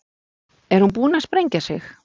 Er hún búin að sprengja sig?